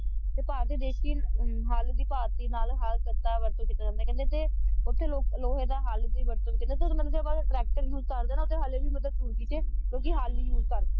ਤੇ ਭਾਰਤੀ ਦੇਸੀ ਹੱਲ ਵੀ ਦਿਖਾ ਤੀ ਨਾਲੇ ਹੱਲ ਤੱਤਾ ਹੈ ਵਰਤੋਂ ਕਰਨ ਨੂੰ ਤੁਸੀਂ ਕਹਿੰਦੇ ਦੇ ਉੱਥੇ ਲੋਹੇ ਦਾ ਹਲ ਵੀ ਵਰਤੋਂ ਕਹਿੰਦੇ ਤੁਸੀਂ tractor use ਕਰਦੇ ਹੈਂ ਨਾ ਉੱਥੇ ਹਾਲੀ ਵੀ ਮਤਲਬ ਤੁਰਕੀ ਚ ਕਿਉਂਕਿ ਹਲ ਹੀ ਉਸੇ ਕਰਦੇ